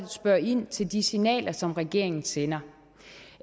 spørger ind til de signaler som regeringen sender